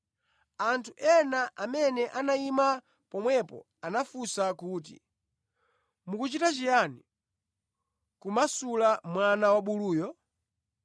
anthu ena amene anayima pomwepo anafunsa kuti, “Mukuchita chiyani, kumasula mwana wabuluyo?”